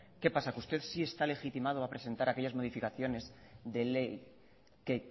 qué pasa que usted sí está legitimado a presentar aquellas modificaciones de ley que